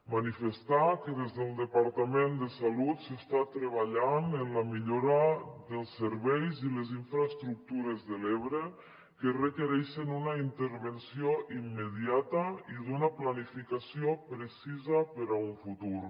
manifestar que des del departament de salut s’està treballant en la millora dels serveis i les infraestructures de l’ebre que requereixen una intervenció immediata i una planificació precisa per a un futur